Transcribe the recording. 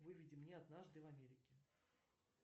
выведи мне однажды в америке